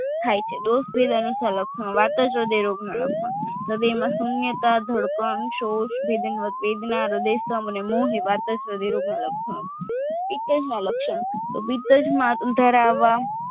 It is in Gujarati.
થાય છે દોષ વેદ અનુસાર લક્ષણો વાર્તજ હ્રદય રોગના લક્ષણો હ્રદયમાં સૂન્યતા ધડકન ષોષ વેદના હ્રદયસ્તંભ અને મોહ એ વાર્તજ હ્રદય રોગના લક્ષણો પિતજ ના લક્ષણો તો પિતજમા ધરાવા